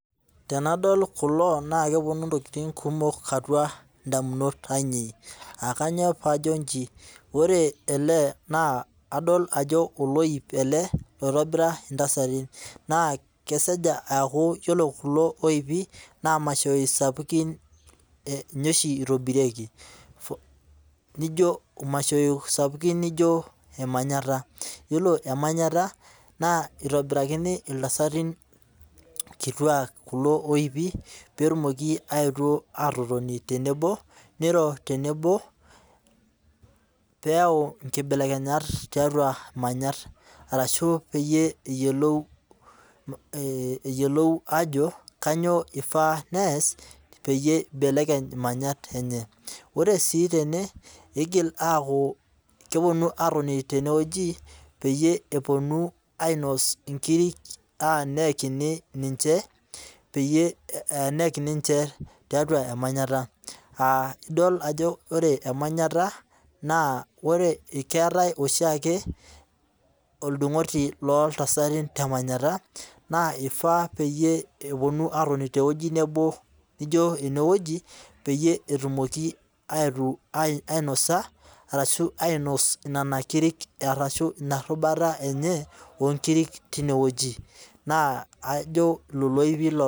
Tenadol kulo naa kepuonu ntokitin kumok atua damunot ainei. Aa kainyoo pajo ijin? Wore ele na kadol ajo oloip ele loitobira intasatin. Naa kesej akuu ore kulo loipi naa mashoi sapukin ninye oshi itobirieki. Nijo mashaoi sapukin nijo emanyata. Iyiolo emanyata naa itobirakini iltasatin kituak kulo oipi petumoki aetu atotoni tenebo, niro tenebo peyau nkibelekenyat tiatua manyat arashu peyie eyiolou ajo kainyaa ifaa nees peyie ibelekeny imanyat enye. Oree sii tene igil akuu kepuonu atoni temeweji peyie epuonu ainos inkirik tenayakini ninche, neyakini ninche tiatua emanyata. Idol ajo ore emanyata naa ore, keeta oshiake oldung'oti looltsati temanyata naa ifaa peyie epuonu atoni teweji nabo ijo eneweji peyie etumoki aitu ainosa arashu ainos nena kirik arashu ina rubata enye woo nkirik tineweji. Neeku ajo nena kirik.